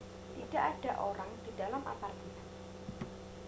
tidak ada orang di dalam apartemen